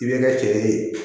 I bɛ ka cɛ de